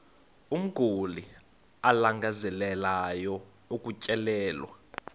umguli alangazelelayo ukutyelelwa